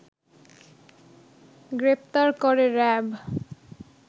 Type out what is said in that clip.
গ্রেপ্তার করে র‍্যাব